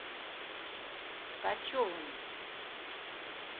ткачевым